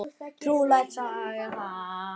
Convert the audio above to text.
Trúleg saga það!